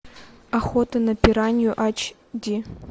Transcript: охота на пиранью ач ди